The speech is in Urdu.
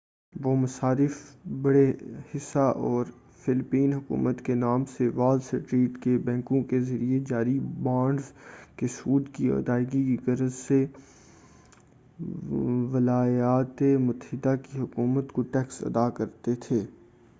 وہ مصارف بڑے حصہ اور فلیپین حکومت کے نام سے وال اسٹریٹ کے بینکوں کے ذریعہ جاری بانڈس کے سود کی ادائیگی کی غرض سے ولایاتِ متحدہ کی حکومت کو ٹیکس ادا کرتے تھے